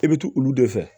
E bɛ tugu olu de fɛ